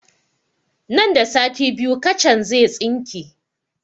Nan da sati biyu kacan zai tsinke